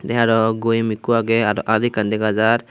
te aro goyam ekku aage aro att ekkan degajar.